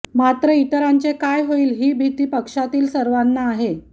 मात्र इतरांचे काय होईल ही भिती पक्षातील सर्वांना आहे